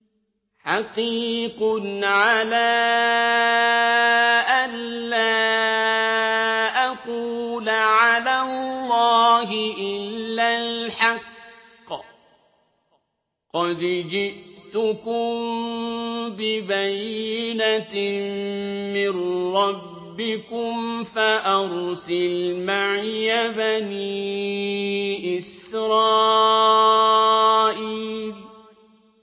حَقِيقٌ عَلَىٰ أَن لَّا أَقُولَ عَلَى اللَّهِ إِلَّا الْحَقَّ ۚ قَدْ جِئْتُكُم بِبَيِّنَةٍ مِّن رَّبِّكُمْ فَأَرْسِلْ مَعِيَ بَنِي إِسْرَائِيلَ